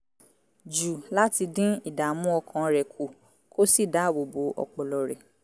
jù láti dín ìdààmú ọkàn rẹ̀ kù kó sì dáàbò bo ọpọlọ rẹ̀